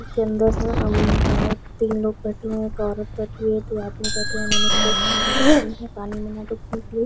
इसके अंदर उम्म बहुत तीन लोह बैठे हुए है एक औरत बैठी हुई है दो आदमी बैठे हुए है उन्होंने कोट पेहन रखी है पानी में डूबने के लिए--